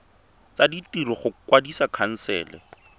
tsa ditiro go kwadisa khansele